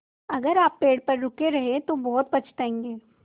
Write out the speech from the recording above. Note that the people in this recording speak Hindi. अगर आप पेड़ पर रुके रहे तो बहुत पछताएँगे